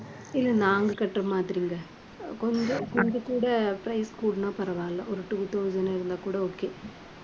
இல்ல நாங்க கட்டுற மாதிரிங்க. கொஞ்சம் கொஞ்சம் கூட price கூடுனா பரவாயில்லை. ஒரு two thousand இருந்தா கூட okay